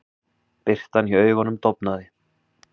Birtan í augunum dofnaði.